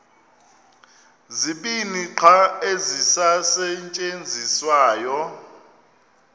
zibini qha ezisasetyenziswayo